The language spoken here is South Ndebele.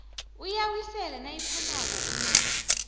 uyawisela nayiphumako unyaka